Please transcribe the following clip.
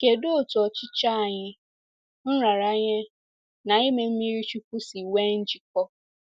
Kedụ otú ọchịchọ anyị, nraranye na ime mmiri chukwu si nwee njikọ?